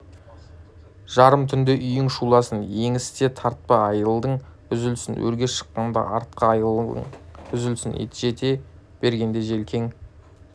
жарым түнде үйің шуласын еңісте тартпа айылың үзілсін өрге шыққанда артқы айылың үзілсін жете бергенде желкең